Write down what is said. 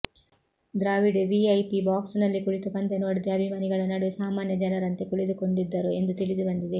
Dravid VIP box ನಲ್ಲಿ ಕುಳಿತು ಪಂದ್ಯ ನೋಡದೆ ಅಭಿಮಾನಿಗಳ ನಡುವೆ ಸಾಮಾನ್ಯ ಜನರಂತೆ ಕುಳಿತುಕೊಂಡಿದ್ದರು ಎಂದು ತಿಳಿದು ಬಂದಿದೆ